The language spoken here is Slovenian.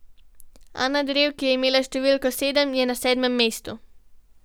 Ana Drev, ki je imela številko sedem, je na sedmem mestu.